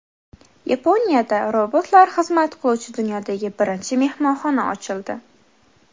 Yaponiyada robotlar xizmat qiluvchi dunyodagi birinchi mehmonxona ochildi.